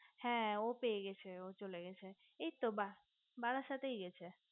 হে ও পেয়ে গেছে ও চলেগেছে এইতো বারাসাতেই গেছে